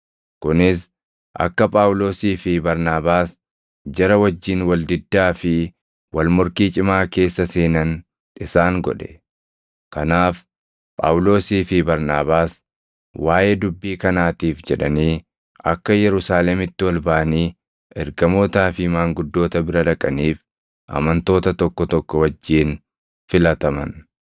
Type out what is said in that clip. Kunis akka Phaawulosii fi Barnaabaas jara wajjin wal diddaa fi wal morkii cimaa keessa seenan isaan godhe; kanaaf Phaawulosii fi Barnaabaas waaʼee dubbii kanaatiif jedhanii akka Yerusaalemitti ol baʼanii ergamootaa fi maanguddoota bira dhaqaniif amantoota tokko tokko wajjin filataman.